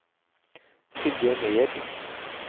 Silje Meyer